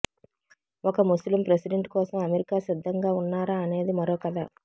ఒక ముస్లిం ప్రెసిడెంట్ కోసం అమెరికా సిద్ధంగా ఉన్నారా అనేది మరో కథ